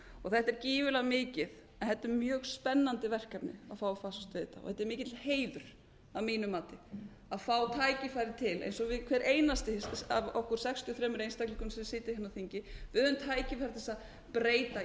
þetta er gífurlega mikið þetta er mjög spennandi verkefni að fá að fást við þetta og þetta er mikill heiður að mínu mati að fá tækifæri til eins og við hver einasti af okkur sextíu og þremur einstaklingum sem sitjum á þingi við höfum tækifæri til að breyta